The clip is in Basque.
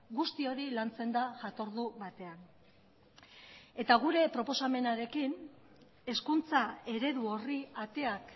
guzti hori lantzen da jatordu batean eta gure proposamenarekin hezkuntza eredu horri ateak